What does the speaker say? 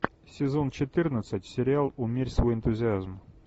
сезон четырнадцать сериал умерь свой энтузиазм